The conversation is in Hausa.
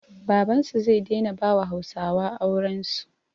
Babansu zai daina bawa hausawa aurensu